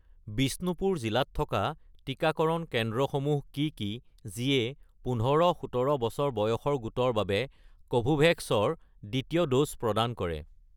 বিষ্ণুপুৰ জিলাত থকা টিকাকৰণ কেন্দ্ৰসমূহ কি কি যিয়ে ১৫-১৭ বছৰ বয়সৰ গোটৰ বাবে কোভোভেক্স ৰ দ্বিতীয় ড'জ প্ৰদান কৰে